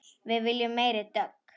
Við viljum meiri dögg!